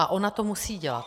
A ona to musí dělat.